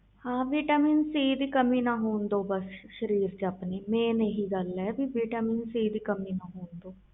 ਹਾਂ vitamin C ਦੀ ਕਮੀ ਨਾ ਹੋਣ ਦੋ ਸਰੀਰ ਵਿਚ ਆਪਣੇ ਮੇਨ ਇਹੀ ਗੱਲ ਆ